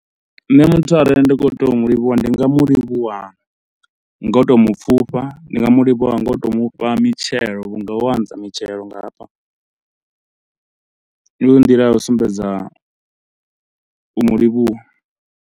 Nṋe muthu arali ndi kho to mu livhuwa ndi nga mu livhuwa nga u to mu pfhufha, ndi nga mu livhuwa ngo u tou mufha mitshelo vhunga ho anza mitshelo nga hafha. Ivha ndi nḓila ya u sumbedza u mu livhuwa.